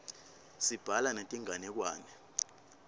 sibhala netinganekwane